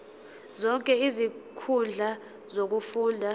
zonke izinkundla zokufunda